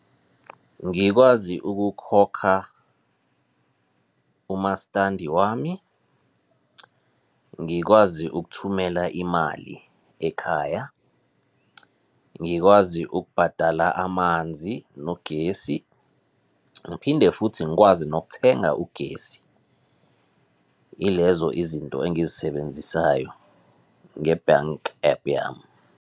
Ngikwazi ukukhokha umastandi wami, ngikwazi ukuthumela imali ekhaya, ngikwazi ukubhadala amanzi nogesi, ngiphinde futhi ngikwazi nokuthenga ugesi. Ilezo izinto engizisebenzisayo nge-bank app yami.